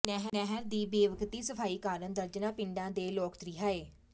ਨਹਿਰ ਦੀ ਬੇਵਕਤੀ ਸਫ਼ਾਈ ਕਾਰਨ ਦਰਜਨਾਂ ਪਿੰਡਾਂ ਦੇ ਲੋਕ ਤ੍ਰਿਹਾਏ